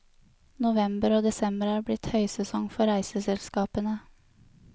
November og desember er blitt høysesong for reiseselskapene.